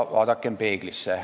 Vaadakem peeglisse.